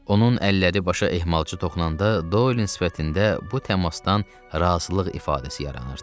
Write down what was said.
Onun əlləri başa ehmalca toxunanda Dolin sifətində bu təmasdan razılıq ifadəsi yaranırdı.